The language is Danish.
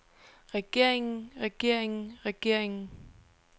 regeringen regeringen regeringen